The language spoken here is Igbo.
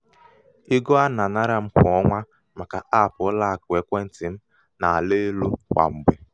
ego a um nà-ànara m kwà ọnwa màkà app ụlọakụ ekwentị̀ m nà-àla elū kwà mgbè.